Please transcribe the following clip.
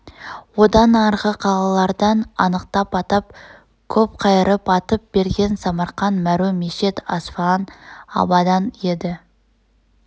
одан арғы қалалардан анықтап атап көп қайырып айтып берген самарқан мәру мешед асфаан абадан еді